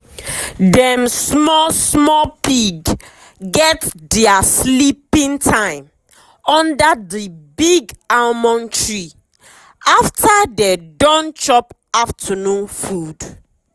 dem small small pig get dia sleeping time under the big almond tree after dey don chop afternoon food.